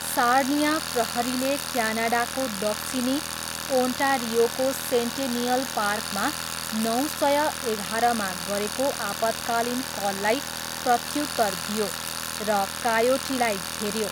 Sarnia प्रहरीले क्यानाडाको दक्षिणी ओन्टारियोको सेन्टेनिअल पार्कमा नौ सय एघाह्रमा गरेको आपतकालीन कललाई प्रत्युत्तर दियो र कायोटीलाई घेऱ्यो।